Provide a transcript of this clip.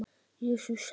Jesús sagði:.